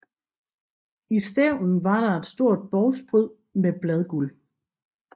I stævnen var der et stort bovspryd med bladguld